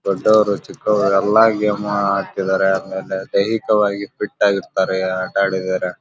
ದೊಡ್ಡವರು ಚಿಕ್ಕವ್ರು ಎಲ್ಲ ಗೇಮು ಆಡ್ತಿದ್ದಾರೆ ಆಮೇಲೆ ದೈಹಿಕವಾಗಿ ಫಿಟ್ ಆಗ್ ಇರ್ತಾರೆ ಆಟ ಆಡಿದರೆ.